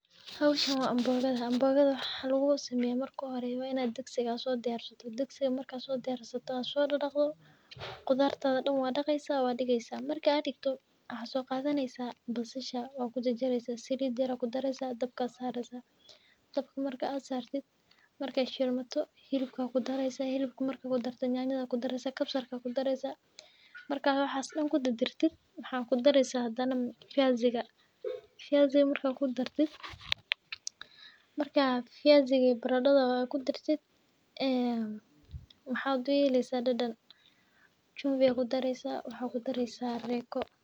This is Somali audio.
Howshan waa (mboga). Digsi sidiyarsato sodadaqdo qudarta dan waa daqi, basasha kujarjar,i salid yar kudaresa. daabka saresa markay shilmato hilib kudaresa nyanyo kudaresa kabsar kudaresa waxa kudari (viazi) barada kudari waxa uyelesa dadhan waxa kudari (chumvi) iyo (reyco)